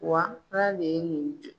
Wa ala de ye nin kɛ